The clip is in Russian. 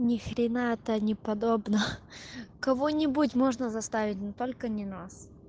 ни хрена это не подобно ха кого-нибудь можно заставить но только не нас